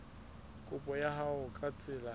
kopo ya hao ka tsela